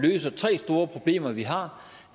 løser tre store problemer vi har